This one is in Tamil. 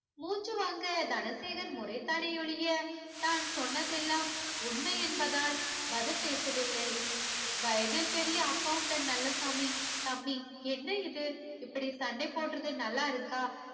சொல்லுவாங்க தனசேகர் முறைத்தானே ஒழிய தான் சொன்னதெல்லாம் உண்மை என்பதால் பதில் பேசவில்லை வயதில் பெரிய accountant நல்லசாமி தம்பி என்ன இது இப்படி சண்ட போடறது நல்லா இருக்கா